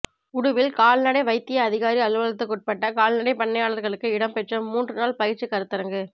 உடுவில் கால்நடை வைத்திய அதிகாரி அலுவலகத்துக்குட்பட்ட கால்நடைப் பண்ணையாளர்களுக்கு இடம்பெற்ற மூன்று நாள் பயிற்சிக் கருத்தரங்கு